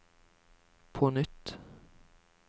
på nytt